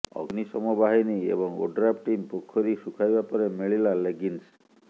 ଅଗ୍ନିଶମ ବାହିନୀ ଏବଂ ଓଡ୍ରାଫ୍ ଟିମ୍ ପୋଖରୀ ଶୁଖାଇବା ପରେ ମିଳିଲା ଲେଗିଙ୍ଗ୍ସ